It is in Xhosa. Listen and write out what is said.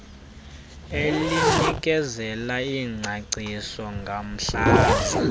elinikezela ingcaciso ngomhlaza